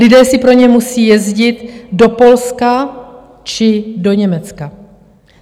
Lidé si pro ně musí jezdit do Polska či do Německa.